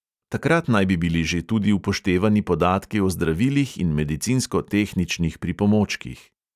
Takrat naj bi bili že tudi upoštevani podatki o zdravilih in medicinsko-tehničnih pripomočkih.